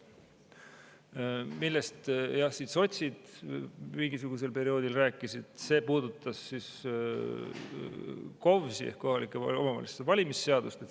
See, millest sotsid mingisugusel perioodil rääkisid, puudutas KOVVS-i ehk kohalike omavalitsuste valimise seadust.